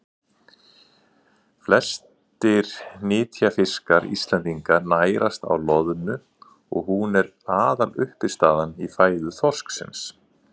flestir nytjafiskar íslendinga nærast á loðnu og hún er aðaluppistaðan í fæðu þorsksins